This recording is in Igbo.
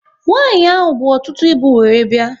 Nwanyi ahụ bụ ọtụtụ ịbụ wéré bịa